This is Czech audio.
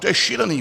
To je šílené!